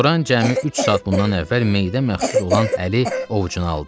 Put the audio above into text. Loran cəmi üç saat bundan əvvəl meyidə məxsus olan əli ovucuna aldı.